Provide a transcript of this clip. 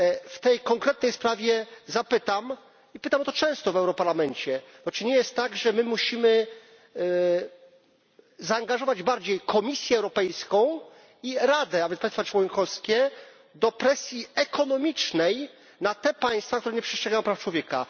W tej konkretnej sprawie zapytam, i pytam o to często w Europarlamencie, bo czy nie jest tak, że my musimy zaangażować bardziej Komisję Europejską i Radę, nawet państwa członkowskie do presji ekonomicznej na te państwa, które nie przestrzegają praw człowieka?